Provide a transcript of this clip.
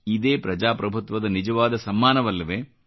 ಇದೇ ಪ್ರಜಾಪ್ರಭುತ್ವದ ನಿಜವಾದ ಸಮ್ಮಾನವಲ್ಲವೇ